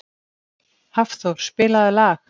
Hafþór, spilaðu lag.